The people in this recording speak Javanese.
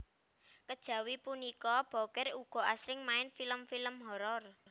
Kejawi punika Bokir ugi asring main film film horor